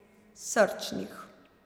Srčnih.